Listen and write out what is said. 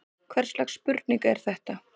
Hvers slags spurning er þetta!